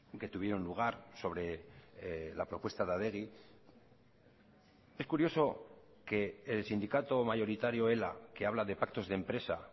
que tuvieron lugar sobre la propuesta de adegi es curioso que el sindicato mayoritario ela que habla de pactos de empresa